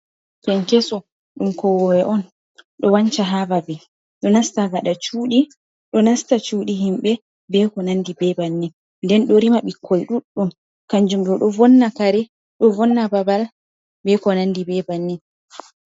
Kenkeso, ɗum kowowe on. Ɗo wanca ha babe, ɗo nasta gaɗa cuuɗi, ɗo nasta cuuɗi himɓe be ko nandi be bannin. Nden ɗo rima bikkoi ɗuɗɗum. Kanjum ɗo ɗo vonna kare, ɗo vonna babal be ko nandi be bannin.